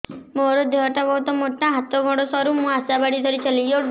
ମୋର ଦେହ ଟା ବହୁତ ମୋଟା ହାତ ଗୋଡ଼ ସରୁ ମୁ ଆଶା ବାଡ଼ି ଧରି ଚାଲେ